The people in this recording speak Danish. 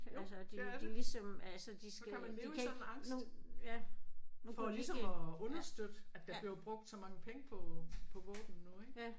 Jo det er det. Så kan man leve i sådan angst. For ligesom at understøtte at der bliver brugt så mange penge på på våben nu ik